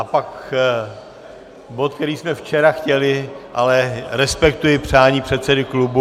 A pak bod, který jsme včera chtěli, ale respektuji přání předsedy klubu.